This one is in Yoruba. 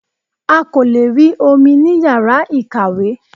A kò lè rí omi ní yàrá ìkàwé